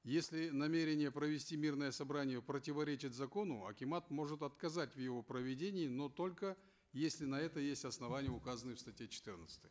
если намерение провести мирное собрание противоречит закону акимат может отказать в его проведении но только если на это есть основание указанное в статье четырнадцатой